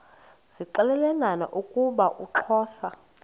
zixelelana ukuba uxhosa